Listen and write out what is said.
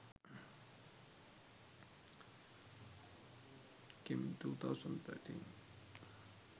kim 2013